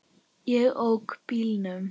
Ég ók bílnum.